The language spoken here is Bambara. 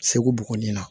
Segu buguni na